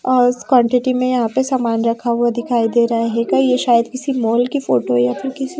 और इस क्वांटिटी में यहां पे सामान रखा हुआ दिखाई दे रहा है कई ये शायद किसी मॉल की फोटो है या फिर--